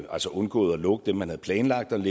altså undgået at lukke dem man havde planlagt at